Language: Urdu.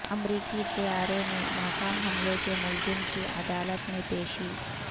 امریکی طیارے میں ناکام حملے کے ملزم کی عدالت میں پیشی